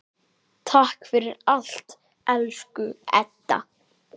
Takk fyrir allt, elsku Edda.